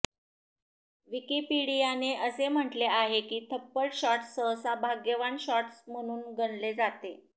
विकिपीडियाने असे म्हटले आहे की थप्पड शॉट्स सहसा भाग्यवान शॉट्स म्हणून गणले जाते